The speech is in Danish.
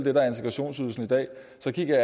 efter dette